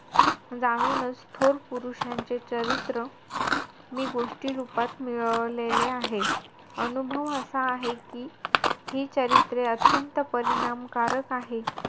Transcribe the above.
जाणूनचं थोर पुरुष यांचे चरित्र मी गोष्टीरूपात मिळवलेले आहे. अनुभव असा आहे कि हि चरित्रे अत्यंत परिणामकारक आहेत.